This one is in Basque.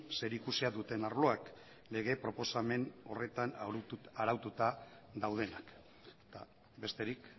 zerikusia duten arloak lege proposamen horretan araututa daudenak besterik